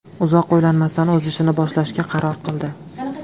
Uzoq o‘ylanmasdan, o‘z ishini boshlashga qaror qildi.